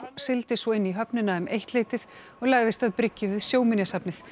sigldi svo inn í höfnina um eittleytið og lagðist að bryggju við Sjóminjasafnið